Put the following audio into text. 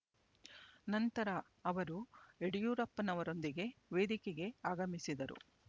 ನಂತರ ಅವರು ಯಡಿಯೂರಪ್ಪನವರೊಂದಿಗೆ ವೇದಿಕೆಗೆ ಆಗಮಿಸಿದರು